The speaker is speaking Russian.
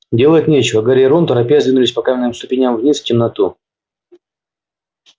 делать нечего гарри и рон торопясь двинулись по каменным ступеням вниз в темноту